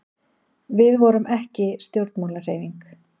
við vorum ekki stjórnmálahreyfing